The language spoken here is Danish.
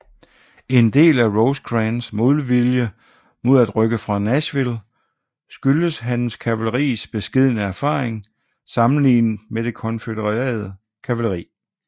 En del af Rosecrans modvilje mod at rykke fra Nashville skyldtes hans kavaleris beskedne erfaring sammenlignet med det konfødererede kavaleri